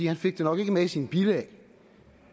han fik det nok ikke med i sine bilag